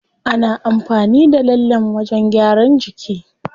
Ana amfani da lallen wajen gyaran jiki.